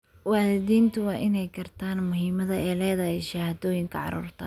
Waalidiintu waa inay gartaan muhiimadda ay leedahay shahaadooyinka carruurta.